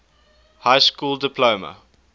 high school diploma